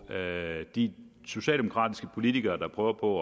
de socialdemokratiske politikere der prøver på